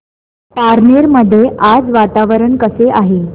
पारनेर मध्ये आज वातावरण कसे आहे